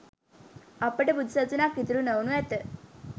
අපට බුදු සසුනක් ඉතිරි නොවනු ඇත.